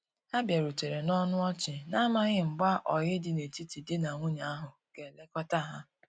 Ha biarutere na ọnụ ọchi, na amaghi mgba oyi di na etiti di na nwunye ahu ga elekota ha.